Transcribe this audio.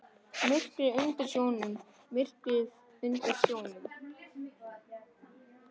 Myrkrið undir sjónum.